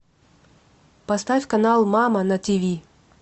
поставь канал мама на тиви